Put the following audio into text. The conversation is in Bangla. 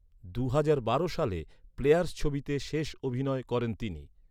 দুহাজার বারো সালে ‘প্লেয়ার্স’ ছবিতে শেষ অভিনয় করেন তিনি।